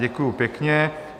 Děkuju pěkně.